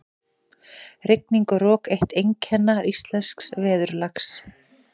Rigning og rok- eitt einkenna íslensks veðurlags.